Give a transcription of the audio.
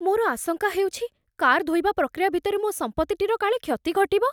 ମୋର ଆଶଙ୍କା ହେଉଛି, କାର୍ ଧୋଇବା ପ୍ରକ୍ରିୟା ଭିତରେ ମୋ ସମ୍ପତ୍ତିଟିର କାଳେ କ୍ଷତି ଘଟିବ।